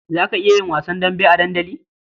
Za ka iya yin wasan dambe a dandali?